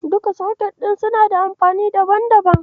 Duka soket ɗin suna da amfani daban-daban.